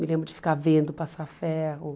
Me lembro de ficar vendo passar ferro.